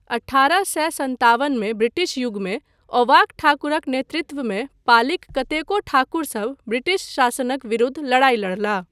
अठारह सए सतावनमे ब्रिटिश युगमे, औवाक ठाकुरक नेतृत्वमे पालीक कतेको ठाकुरसभ ब्रिटिश शासनक विरुद्ध लड़ाई लड़लाह।